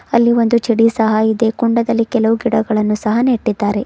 ಅಲ್ಲಿ ಒಂದು ಚಡಿ ಸಹ ಇದೆ ಕುಂಡದಲ್ಲಿಕೆಲವು ಗಿಡಗಳನ್ನು ಸಹ ನೆಟ್ಟಿದ್ದಾರೆ.